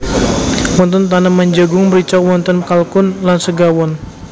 Wonten taneman jagung mrica wonten kalkun lan segawon